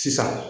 Sisan